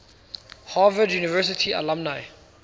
harvard university alumni